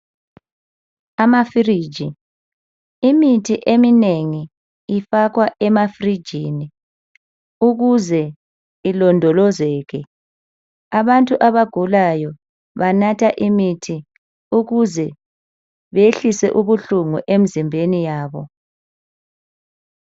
Amafiriji imithi eminengi ifakwa ema firijini ukuze ilondolozeke abantu abagulayo banatha imithi ukuze behlise ubuhlungu emizimbeni yabo